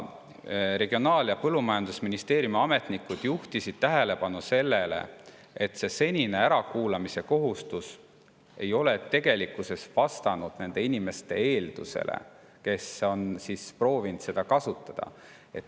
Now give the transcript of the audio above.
Regionaal‑ ja Põllumajandusministeeriumi ametnikud juhtisid tähelepanu sellele, et see senine ärakuulamise kohustus ei ole tegelikkuses vastanud nende inimeste, kes on proovinud seda kasutada.